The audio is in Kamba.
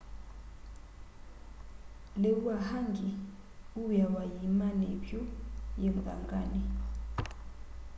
liu wa hangi uwiawa yiimani ivyu yi muthangani